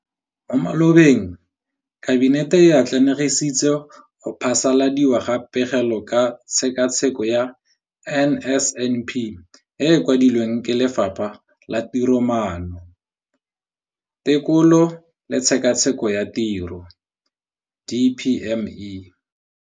Mo malobeng Kabinete e atlenegisitse go phasaladiwa ga Pegelo ka Tshekatsheko ya NSNP e e kwadilweng ke Lefapha la Tiromaano, Tekolo le Tshekatsheko ya Tiro DPME.